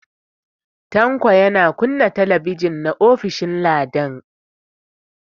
Tanko yana kunna TV na ofishin Ladan.